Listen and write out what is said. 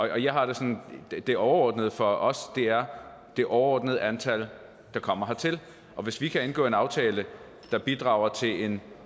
jeg har det sådan at det overordnede for os er det overordnede antal der kommer hertil og hvis vi kan indgå en aftale der bidrager til en